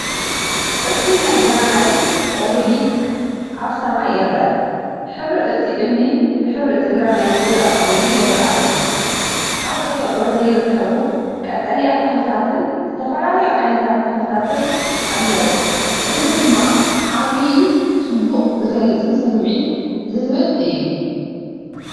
እቲ ናይ ግራናይት ኦቤሊስክ ኣብ ሰማይ ይርአ። ሕብሪ እቲ እምኒ ብሕብሪ እቲ ግራናይት ዝረአ ኮይኑ ይረኣዩ። ኣብ ተፈጥሮ ዘይርከቡ ቀጠልያ ተኽልታትን ዝተፈላለዩ ዓይነታት ተኽልታትን ኣለዉ። እዚ ድማ ዓብይ ጽባቐ ዝገልጽን ስምዒት ዝህብን እዩ።